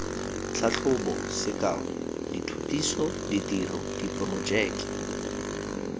tlhatlhobo sekao dithutiso ditiro diporojeke